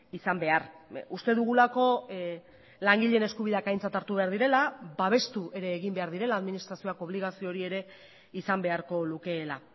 izan behar uste dugulako langileen eskubideak aintzat hartu behar direla babestu ere egin behar direla administrazioak obligazio hori ere izan beharko lukeela